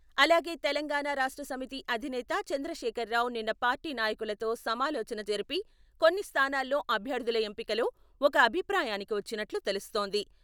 అలాగే తెలంగాణ రాష్ట్ర సమితి అధినేత చంద్రశేఖర్రావు నిన్న పార్టీ నాయకులతో సమాలోచన జరిపి కొన్ని స్థానాల్లో అభ్యర్థుల ఎంపికలో ఒక అభిప్రాయానికి వచ్చిన్నట్లు తెలుస్తోంది.